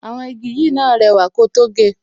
Àwọn igi yìí náà rẹwà ko tó ge